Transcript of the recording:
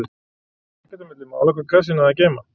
Það fór ekkert á milli mála hvað kassinn hafði að geyma.